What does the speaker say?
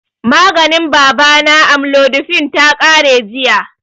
Maganin baba na, amlodipine, ta ƙare jiya